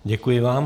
Děkuji vám.